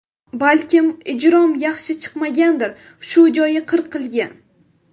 Balkim ijrom yaxshi chiqmagandir... Shu joyi qirqilgan.